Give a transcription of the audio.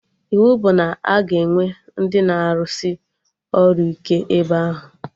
Iwu bụ na a ga-enwe ndị na arụsị ọrụ ike ebe ahụ!